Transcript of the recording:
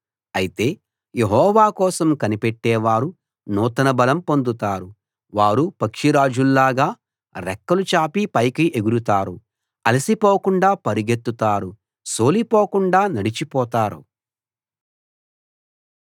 అయితే యెహోవా కోసం కనిపెట్టే వారు నూతన బలం పొందుతారు వారు పక్షిరాజుల్లాగా రెక్కలు చాపి పైకి ఎగురుతారు అలసిపోకుండా పరుగెత్తుతారు సోలిపోకుండా నడిచిపోతారు